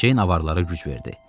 Ceyn avarlara güc verdi.